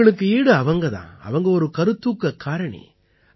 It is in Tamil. அவங்களுக்கு ஈடு அவங்க தான் அவங்க ஒரு கருத்தூக்கக் காரணி